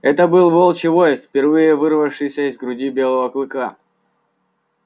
это выл волчий вой впервые вырвавшийся из груди белого клыка